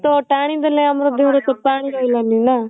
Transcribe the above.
ତ ଟାଣି ଦେଲେ ଆମର ରେ ପାଣି ରହିଲାନି ନା